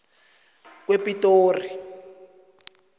kwepitori